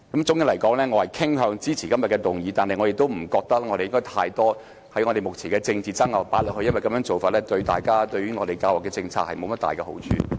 總的來說，我傾向支持今天的議案，但我不認為應把過多有關目前政治爭拗的資料放進課程內，因為這樣做對我們的教育政策無甚好處。